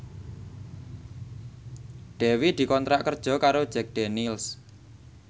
Dewi dikontrak kerja karo Jack Daniels